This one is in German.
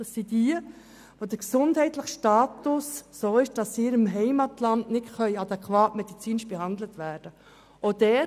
Bei ihnen ist der gesundheitliche Status so, dass sie in ihrem Heimatland medizinisch nicht adäquat behandelt werden können.